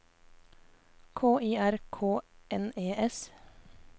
K I R K N E S